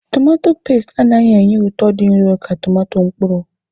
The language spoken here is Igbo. Tomato peesti anaghị enye ụtọ dị nro ka tomato mkpụrụ.